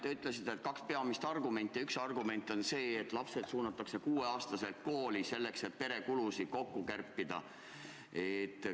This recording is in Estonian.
Te ütlesite, et on kaks peamist argumenti, ja üks argument on see, et lapsed suunatakse 6-aastaselt kooli, et pere kulusid kärpida.